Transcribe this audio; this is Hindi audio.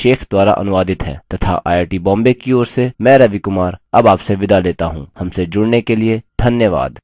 यह स्क्रिप्ट सकीना शेख द्वारा अनुवादित है तथा आई आई टी बॉम्बे की ओर से मैं रवि कुमार अब आपसे विदा लेता हूँ हमसे जुड़ने के लिए धन्यवाद